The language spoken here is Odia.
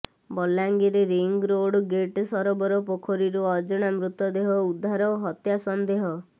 ବଲାଙ୍ଗୀର ରିଙ୍ଗ୍ ରୋଡ୍ ଗେଟସରୋବର ପୋଖରୀରୁ ଅଜଣା ମୃତଦେହ ଉଦ୍ଧାର ହତ୍ୟା ସନ୍ଦେହ